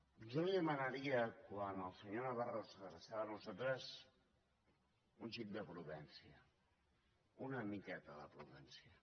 jo li demanaria quan el senyor navarro s’adreçava a nosaltres un xic de prudència una miqueta de prudència